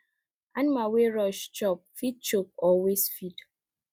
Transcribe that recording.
animal wey rush chop fit choke or waste feed